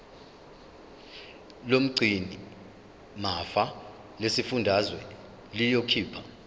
lomgcinimafa lesifundazwe liyokhipha